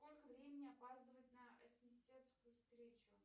сколько времени опаздывает на ассистентскую встречу